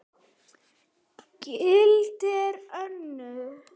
Gildin verða önnur.